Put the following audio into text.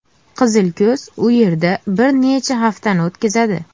Qizilko‘z u yerda bir necha haftani o‘tkazadi.